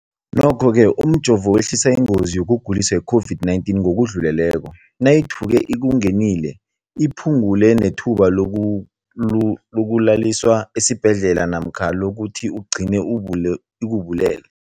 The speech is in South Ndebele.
Nokho-ke umjovo wehlisa ingozi yokuguliswa yi-COVID-19 ngokudluleleko, nayithuke ikungenile, iphu ngule nethuba lokuyokulaliswa esibhedlela namkha lokuthi igcine ikubulele.